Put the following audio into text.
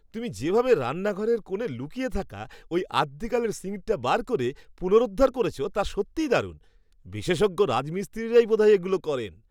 তুমি যেভাবে রান্নাঘরের কোণে লুকিয়ে থাকা ওই আদ্যিকালের সিঙ্কটা বার করে পুনরুদ্ধার করেছো তা সত্যিই দারুণ। বিশেষজ্ঞ রাজমিস্ত্রিরাই বোধহয় এগুলো করেন।